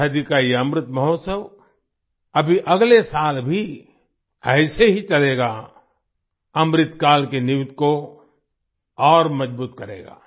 आजादी का ये अमृत महोत्सव अभी अगले साल भी ऐसे ही चलेगा अमृतकाल की नींव को और मजबूत करेगा